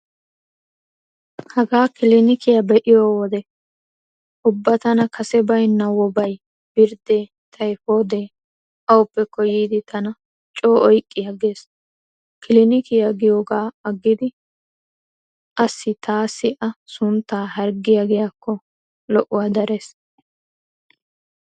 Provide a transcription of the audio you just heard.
Hagaa kilinikiya be'iyo wodiyan ubba tana kase baynna woobay, birddee, tayppooddee awupekko yiidi tana coo oyqqi aggees. Kilinikiya giyogaa aggidi asi taassi a sunttaa harggiya giiyaakko lo'uwaa darees.